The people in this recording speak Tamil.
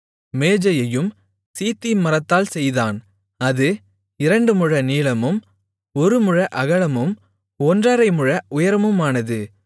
மேஜையையும் சீத்திம் மரத்தால் செய்தான் அது இரண்டு முழ நீளமும் ஒரு முழ அகலமும் ஒன்றரை முழ உயரமுமானது